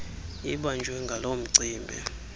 ibanjwe ngaloo mcimbi